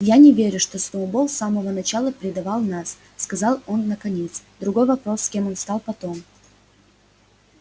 я не верю что сноуболл с самого начала предавал нас сказал он наконец другой вопрос кем он стал потом